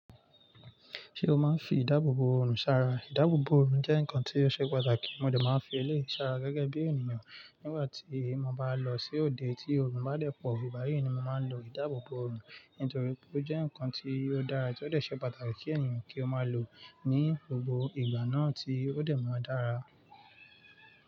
Ṣé o máa ń fi ìdáàbòbò òòrùn ṣàrà? Ìdáàbòbò òòrùn jẹ́ nǹkan tí ó ṣe pàtàkì, mo dà máa ń fi ilé ṣàrà gẹ́gẹ́ bí ènìyàn nígbà tí mo bá lọ sí òde tí òòrùn bá dẹ̀ pọ̀. Ígbàyí ni mo máa ń lo ìdáàbòbò òòrùn nítorí pé ó jẹ́ ǹkan tí ó dára, tí ó lè ṣe pàtàkì kí ènìyàn kí ó máa lò ní gbogbo ìgbà náà tí ó dẹ̀ máa dára.